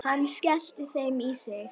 Hann skellti þeim í sig.